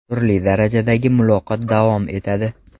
Turli darajadagi muloqot davom etadi.